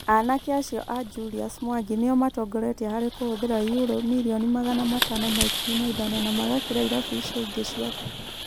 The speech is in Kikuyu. Anake acio a Julius Mwangi nĩo matongoretie harĩ kũhũthĩra yurũ mirioni magana matano ma ikumi na ithano na magakĩra irabu icio ingĩ ciothe